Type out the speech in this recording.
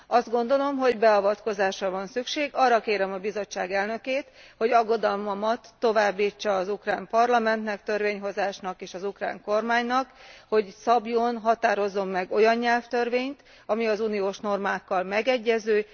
Azt gondolom, hogy beavatkozásra van szükség, arra kérem a Bizottság elnökét, hogy aggodalmamat továbbítsa az ukrán parlamentnek, törvényhozásnak, és az ukrán kormánynak, hogy szabjon, határozzon meg olyan nyelvtörvényt, ami az uniós normákkal megegyező.